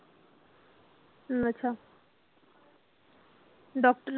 ਅੱਛਾ doctor